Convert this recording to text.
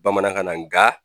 Bamanankan nga